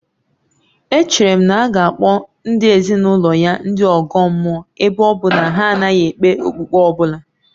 Echere m na a ga-akpọ ezinụlọ ya ndị ọgọ mmụọ ebe ọ bụ na ha anaghị ekpe okpukpe ọ bụla